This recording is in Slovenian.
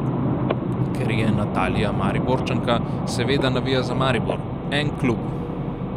Ker je Natalija Mariborčanka, seveda navija za Maribor: "En klub.